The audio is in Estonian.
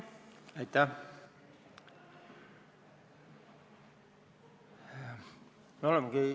Aitäh!